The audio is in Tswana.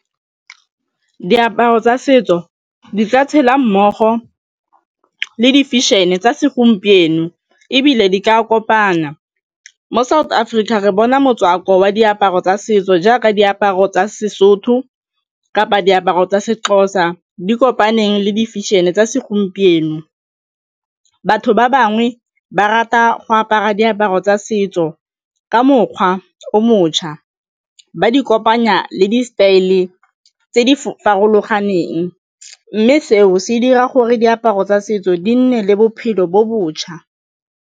Diaparo tsa setso di tla tshela mmogo le di fešene tsa segompieno ebile di ka kopana. Mo South Africa re bona motswako wa diaparo tsa setso jaaka diaparo tsa Sesotho kapa diaparo tsa Sexhosa di kopane le difešeneng tsa segompieno batho ba bangwe ba rata go apara diaparo tsa setso ka mokgwa o motšha ba di kopanya le di-style tse di farologaneng mme seo se dira gore diaparo tsa setso di nne le bophelo bo botšha.